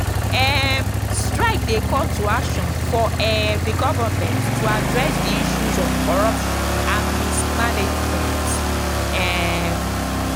um strike dey call to action for um di government to address di issues of corruption and mismanagement. um